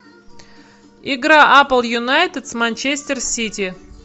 игра апл юнайтед с манчестер сити